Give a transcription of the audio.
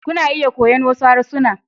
Kuna iya koyon wasu harsuna.